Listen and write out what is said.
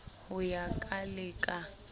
ho ya ka le ka